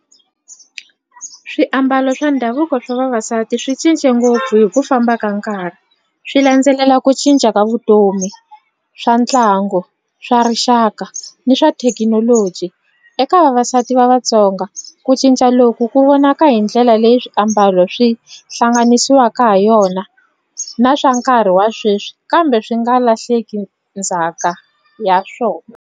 Swiambalo swa ndhavuko swa vavasati swi cince ngopfu hi ku famba ka nkarhi swi landzelela ku cinca ka vutomi swa ntlangu swa rixaka ni swa thekinoloji eka vavasati va Vatsonga ku cinca loku ku vonaka hi ndlela leyi swiambalo swi hlanganisiwaka ha yona na swa nkarhi wa sweswi kambe swi nga lahleki ndzhaka ya swona.